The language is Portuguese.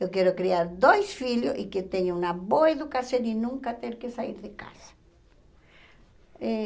Eu quero criar dois filhos e que tenham uma boa educação e nunca ter que sair de casa. Eh